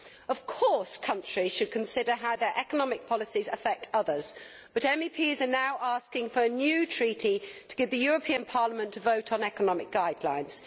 Of course countries should consider how their economic policies affect others, but MEPs are now asking for a new treaty to give the European Parliament a vote on economic guidelines.